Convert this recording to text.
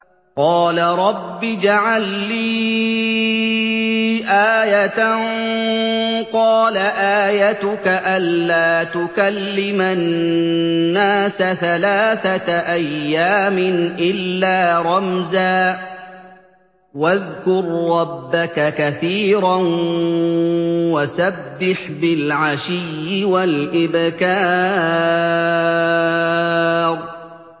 قَالَ رَبِّ اجْعَل لِّي آيَةً ۖ قَالَ آيَتُكَ أَلَّا تُكَلِّمَ النَّاسَ ثَلَاثَةَ أَيَّامٍ إِلَّا رَمْزًا ۗ وَاذْكُر رَّبَّكَ كَثِيرًا وَسَبِّحْ بِالْعَشِيِّ وَالْإِبْكَارِ